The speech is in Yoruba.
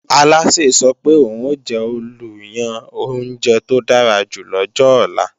Alásè sọ pé òun ò jẹ́ olùyan oúnjẹ tó dára jù lọ́jọ ọ̀la